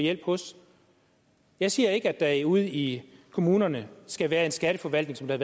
hjælp hos jeg siger ikke at der ude i kommunerne skal være en skatteforvaltning som der